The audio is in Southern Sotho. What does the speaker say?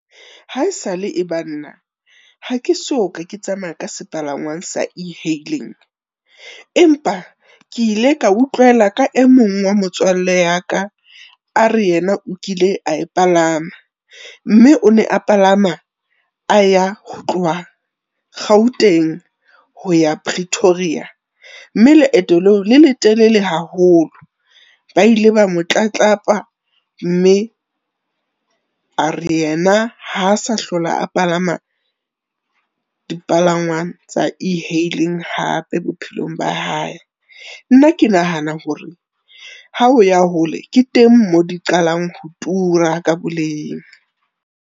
Ha esale e ba nna, ha ke so ka ke tsamaya ka sepalangwang sa e-hailing. Empa ke ile ka utlwela ka e mong wa motswalle ya ka a re, yena o kile a e palama mme o ne a palama a ya ho tloha Gauteng ho ya Pretoria mme leeto leo le letelele haholo. Ba ile ba mo tlatlapa mme are yena ha sa hlola a palama dipalangwang tsa e-hailing hape bophelong ba hae. Nna ke nahana hore ha o ya hole ke teng moo di qalang ho tura ka boleng.